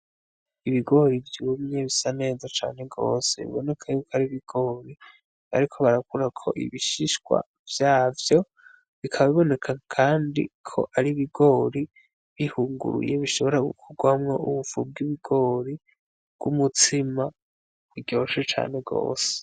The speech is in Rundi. Ibigori vyumye bisa neza cane gose, biboneka yuko ari ibigori bariko barakurako ibishishwa vyavyo, bikaba biboneka kandi ko ari ibigori bihunguruye bishobora kuvamwo ubufu bw'ibigori bw'umutsima buryoshe cane gose.